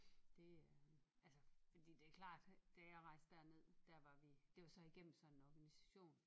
Det øh altså fordi det er klart at da jeg rejse derned der var vi det var så igennem sådan en organisation